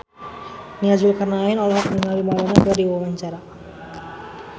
Nia Zulkarnaen olohok ningali Madonna keur diwawancara